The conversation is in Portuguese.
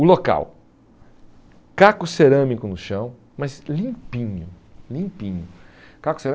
O local, caco cerâmico no chão, mas limpinho, limpinho. Caco